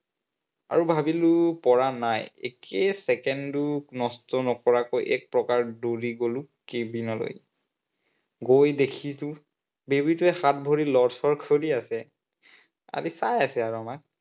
আৰু ভাবিলো পৰা নাই। একে চেকেণ্ডো নষ্ট নকৰাকৈ এক প্ৰকাৰ দৌৰি গলো cabin লৈ। গৈ দেখিলো baby টোৱে হাত ভৰি লৰ-চৰ কৰি আছে আৰে চাই আছে আৰু আমাক